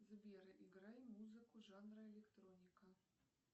сбер играй музыку жанра электроника